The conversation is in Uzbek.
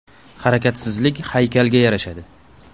Harakatsizlik haykalga yarashadi.